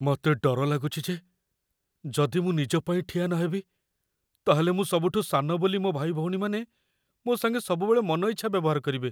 ମତେ ଡର ଲାଗୁଚି ଯେ ଯଦି ମୁଁ ନିଜ ପାଇଁ ଠିଆ ନହେବି, ତା'ହେଲେ ମୁଁ ସବୁଠୁ ସାନ ବୋଲି ମୋ' ଭାଇଭଉଣୀମାନେ ମୋ' ସାଙ୍ଗେ ସବୁବେଳେ ମନ ଇଚ୍ଛା ବ୍ୟବହାର କରିବେ ।